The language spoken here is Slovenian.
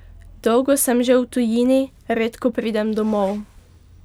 Dolgo sem že v tujini, redko pridem domov.